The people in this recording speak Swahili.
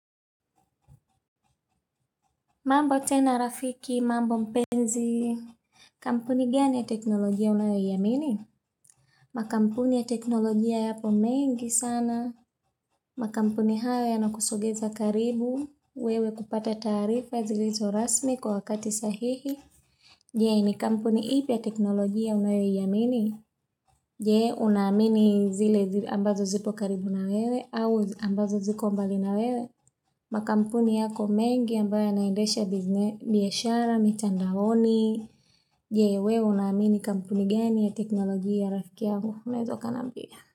Mambo tena rafiki, mambo mpenzi, kampuni gani ya teknologia una iamini? Makampuni ya teknologia yapo mengi sana, makampuni hayo yanakusogeza karibu, wewe kupata taarifa zilizo rasmi kwa wakati sahihi. Je, ni kampuni ipia teknologia unayoiamini? Je una amini zile ambazo zipo karibu na wewe au ambazo ziko mbali na wewe? Makampuni yako mengi ambayo yanaendesha biashara, mitandaoni? Je, wewe una amini kampuni gani ya teknologia ya rafiki yangu? Unaweza ukaniambia.